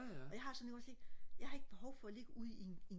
og jeg har det sådan ikke også ikke jeg har ikke behov for og ligge ud i en en